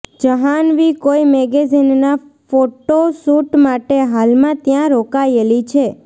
જહાન્વી કોઇ મેગેઝીનના photo shoot માટે હાલમાં ત્યાં રોકાયેલી છે